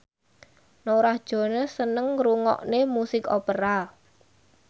Norah Jones seneng ngrungokne musik opera